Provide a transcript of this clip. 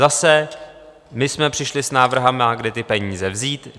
Zase - my jsme přišli s návrhy, kde ty peníze vzít.